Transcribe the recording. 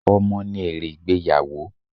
Ọmọ ní èrè ìgbéyàwó.